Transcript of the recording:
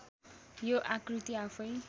यो आकृती आफैँ